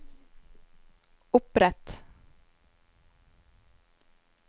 opprett